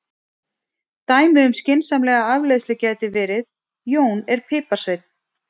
Dæmi um skynsamlega afleiðslu gæti verið: Jón er piparsveinn.